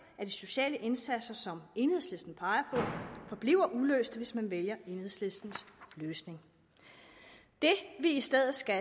af de sociale indsatser som enhedslisten peger forbliver uløste hvis man vælger enhedslistens løsning det vi i stedet skal